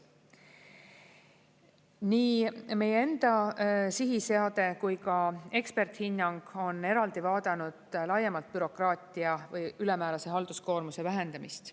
Nii meie enda sihiseade kui ka eksperthinnang on eraldi vaadanud laiemalt bürokraatia või ülemäärase halduskoormuse vähendamist.